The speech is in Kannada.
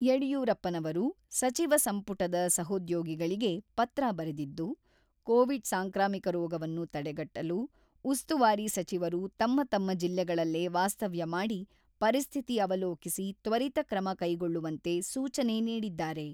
ಯಡಿಯೂರಪ್ಪನವರು ಸಚಿವ ಸಂಪುಟದ ಸಹೋದ್ಯೋಗಿಗಳಿಗೆ ಪತ್ರ ಬರೆದಿದ್ದು, ಕೋವಿಡ್ ಸಾಂಕ್ರಾಮಿಕ ರೋಗವನ್ನು ತಡೆಗಟ್ಟಲು ಉಸ್ತುವಾರಿ ಸಚಿವರು ತಮ್ಮ ತಮ್ಮ ಜಿಲ್ಲೆಗಳಲ್ಲೇ ವಾಸ್ತವ್ಯ ಮಾಡಿ ಪರಿಸ್ಥಿತಿ ಅವಲೋಕಿಸಿ ತ್ವರಿತ ಕ್ರಮ ಕೈಗೊಳ್ಳುವಂತೆ ಸೂಚನೆ ನೀಡಿದ್ದಾರೆ.